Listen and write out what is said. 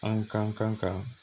An ka kan ka